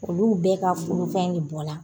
Olu bɛɛ ka furufɛn de bɔ la.